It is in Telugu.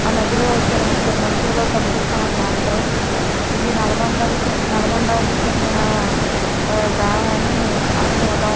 ఆ నదిలో ఇద్దరు ముగ్గురు మనుషులుగా కనిపిస్తా ఉంటాడ్రు. ఇది నల్గొండకి చెందినా నల్గొండకి చెందినా డాం అని అర్ధం అవుతుంది.